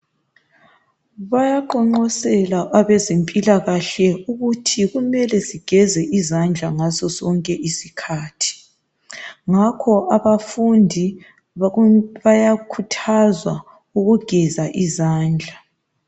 Bayaqonqosela abezempilakahle ukuthi kumele sigeze izandla ngaso sonke izikhathi, ngakho abafundi bayakhuthazwa ukugeza izandla.